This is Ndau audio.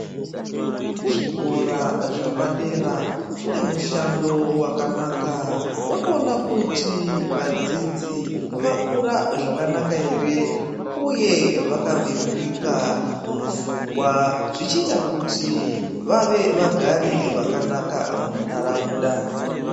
Zvikora zcapadera zvine mushando wakanaka wekuona kuti vadzidzi vakura zvakanaka ere uye vakabeurika mupfungwa zvichiita kuti vave vagari vakanaka muntaraunda.